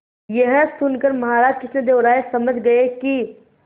यह सुनकर महाराज कृष्णदेव राय समझ गए कि